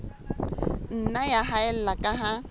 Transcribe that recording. nna ya haella ka ha